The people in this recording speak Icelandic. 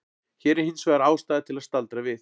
Hér er hins vegar ástæða til að staldra við.